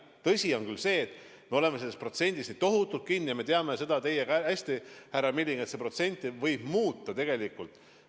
Tõsi on küll see, et me oleme selles 2%-s nii tohutult kinni, ja me teame seda teiega hästi, milliseks see protsent võib muutuda tegelikult.